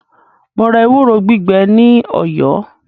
Mo ra ewúro gbígbẹ ní Ọ̀yọ́.